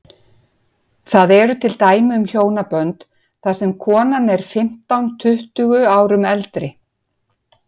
Það eru til dæmi um hjónabönd þar sem konan er fimmtán, tuttugu árum eldri.